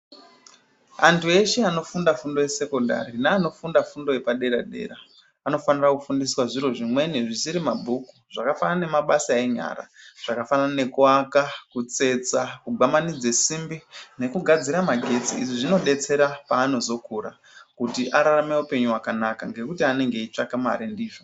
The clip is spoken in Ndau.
Antu eshe anofunda fundo yesekendari nevanofunda fundo yepadera dera vanofanire kufundiswa zviro zvimweni zvisir mumabhuku zvakafanana nebasa enyara akafanana nekuaka , kutsetsa, kugwamanidze simbi nekugadzira magetsi izvi zvinodetsera paanozokura kuti ararame upenyu hwakanaka nekuti anenge eitsvaka mare ndizvo.